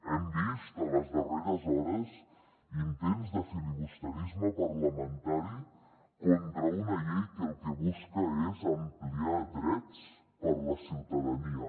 hem vist en les darreres hores intents de filibusterisme parlamentari contra una llei que el que busca és ampliar drets per a la ciutadania